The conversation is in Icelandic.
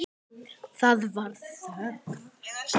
Það varð þögn.